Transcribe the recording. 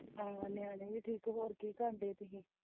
ਹਾਂ ਨਿਆਣੇ ਵੀ ਠੀਕ ਹੈ ਹੋਰ ਕਿ ਕਰਨ ਡਏ ਤੁਸੀ।